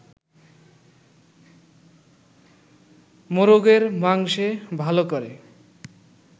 মোরগের মাংসে ভালো করে